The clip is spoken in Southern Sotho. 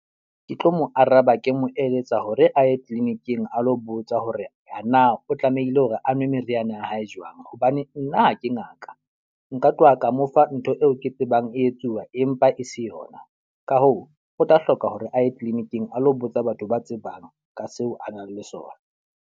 Ke tlo mo araba ke mo eletsa hore a ye clinic-ing a lo botsa hore na o tlamehile hore a nwe meriana ya hae jwang. Hobane nna ha ke ngaka. Nka tloha ka mo fa ntho eo ke tsebang e etsuwa empa e se yona. Ka hoo, o tla hloka hore a ye clinic-ing a lo botsa batho ba tsebang ka seo a nang le sona.